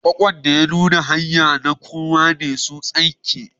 Kwakwan da ya nuna a kan hanya na kowa ne su tsinke.